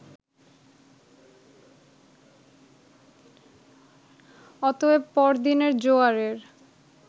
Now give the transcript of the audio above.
অতএব পর দিনের জোয়ারের